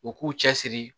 U k'u cɛ siri